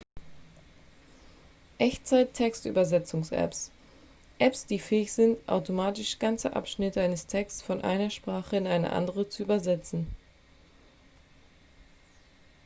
echtzeit-textübersetzungsapps apps die fähig sind automatisch ganze abschnitte eines texts von einer sprache in eine andere zu übersetzen